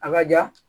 A ka ja